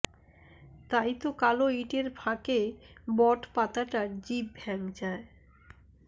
তাই তো কালো ইঁটের ফাঁকে বট পাতাটা জিভ ভ্যাংচায়